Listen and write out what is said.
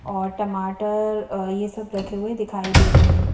और टमाटर ये सब रखे हुए दिखाई दे रहे है।